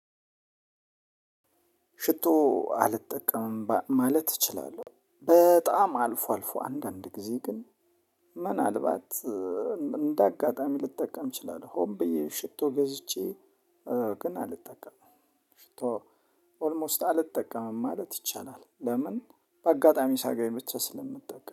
ሽቶ አልጠቀምም ማለት እችላለሁ በጣም አልፎ አልፎ አንዳንድ ጊዜ ግን ምናልባት እንደ አጋጣሚ ልጠቀም እችላለሁ ሆን ብዬ ሽቶ ገዝቼ ግን አልጠቀምም ሽቶ ኦልሞስት አልጠቀምም ማለት ይቻላል። ለምን በአጋጣሚ ሳገኝ ብቻ ስለምጠቀም